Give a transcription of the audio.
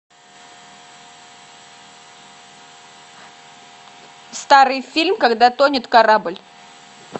старый фильм когда тонет корабль